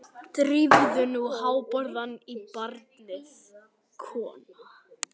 Drífðu nú hárborðann í barnið, kona.